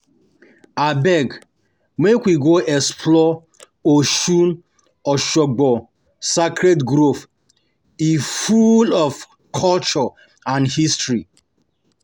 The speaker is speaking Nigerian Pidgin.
Abeg, make we go explore Osun-Osogbo Sacred Grove, e full of culture and history.